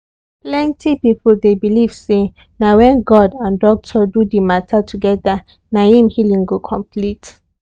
plenty people dey believe say na when god and doctor do the matter together na im healing go complete.